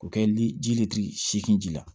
K'o kɛ liji le seegin ji la